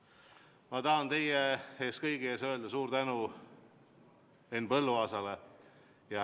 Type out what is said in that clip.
Ja ma tahan teie kõigi ees öelda suure tänu Henn Põlluaasale.